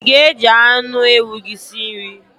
I ga- eji anụ ewu gị si nri?